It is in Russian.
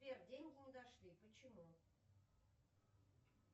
сбер деньги не дошли почему